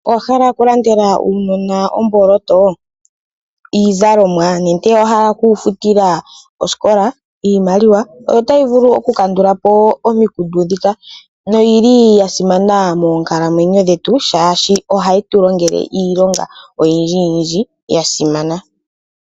Owahala okulandela aanona omboloto, iizalomwa nenge owahala okuya futila osikola? Iimaliwa oyo tayi vulu oku kandulapo omikundu dhika, noyili yasimana moonkalamwenyo dhetu, shaashi ohayi tulongele iilonga oyindji yindji yasimana.